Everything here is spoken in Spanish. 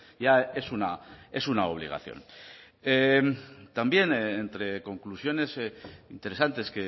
ya es una es una obligación también entre conclusiones interesantes